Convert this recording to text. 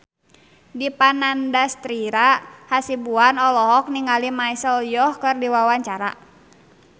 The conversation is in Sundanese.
Dipa Nandastyra Hasibuan olohok ningali Michelle Yeoh keur diwawancara